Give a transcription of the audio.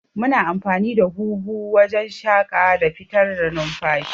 Muna amfani da huhu wajan shaƙa da fitar da numfashi